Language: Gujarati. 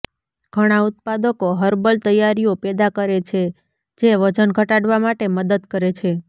ઘણા ઉત્પાદકો હર્બલ તૈયારીઓ પેદા કરે છે જે વજન ઘટાડવા માટે મદદ કરે છે